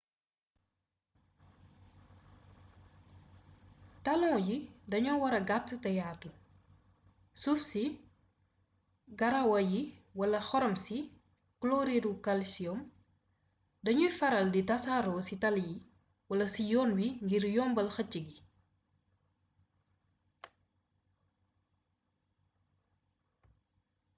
talon yi dañoo wara gàtt te yaatu. suuf si garawaa yi wala xorom si kloriiru kalsiyoom dañuy faral di tasaaroo ci tali yi wala ci yoon wi ngir yombal xëcc gi